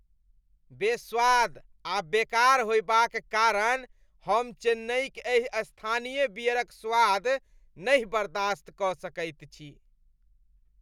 बेस्वाद आ बेकार होएबाक कारण हम चेन्नइक एहि स्थानीय बियरक स्वाद नहि बर्दास्त कऽ सकैत छी।